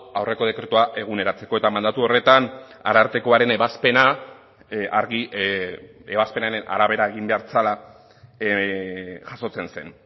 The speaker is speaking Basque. aurreko dekretua eguneratzeko eta mandatu horretan arartekoaren ebazpena argi ebazpenaren arabera egin behar zela jasotzen zen